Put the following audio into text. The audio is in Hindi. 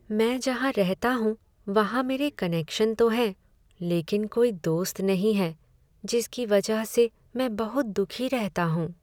मैं जहाँ रहता हूँ वहाँ मेरे मेरे कनेक्शन तो हैं लेकिन कोई दोस्त नहीं है जिसकी वजह से मैं बहुत दुखी रहता हूँ।